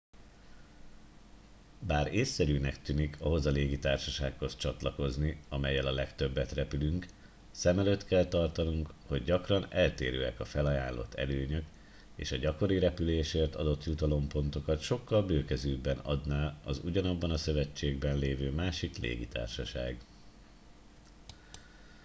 bár észszerűnek tűnik ahhoz a légitársasághoz csatlakozni amellyel a legtöbbet repülünk szem előtt kell tartanunk hogy gyakran eltérőek a felajánlott előnyök és a gyakori repülésért adott jutalompontokat sokkal bőkezűbben adná az ugyanabban a szövetségben lévő másik légitársaság